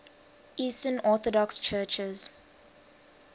eastern orthodox churches